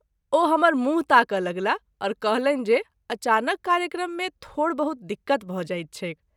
ओ हमर मूँह ताकय लगलाह और कहलनि जे अचानक कार्यक्रम मे थोड़ बहुत दिक्कत भ’ जाइत छैक।